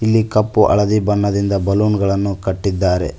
ಇಲ್ಲಿ ಕಪ್ಪು ಹಳದಿ ಬಣ್ಣದಿಂದ ಬಲೂನ್ ಗಳನ್ನು ಕಟ್ಟಿದ್ದಾರೆ.